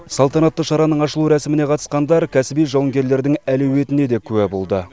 салтанатты шараның ашылу рәсіміне қатысқандар кәсіби жауынгерлердің әлеуетіне де куә болды